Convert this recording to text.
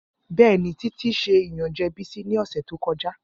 Bẹẹni, Titi ṣe iyanjẹ Bisi ni ọsẹ to kọja.